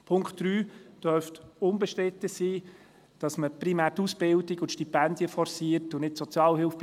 Bei Punkt 3 dürfte unbestritten sein, dass man bei den unter 25-Jährigen primär die Ausbildungen und Stipendien forciert und nicht die Sozialhilfe.